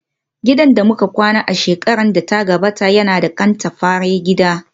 Gidan da muka kwana a shekarar da ta gabata yana da katafaren gida